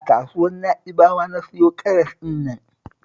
A kasuwar Na'ibawa na siyo karas ɗin nan